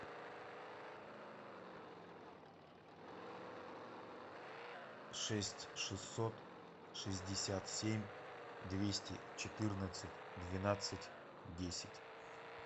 шесть шестьсот шестьдесят семь двести четырнадцать двенадцать десять